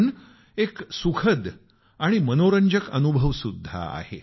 पण एक सुखद आणि मनोरंजक अनुभवसुद्धा आहे